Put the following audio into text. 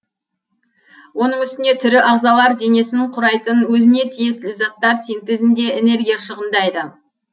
оның үстіне тірі ағзалар денесін құрайтын өзіне тиесілі заттар синтезінде энергия шығындайды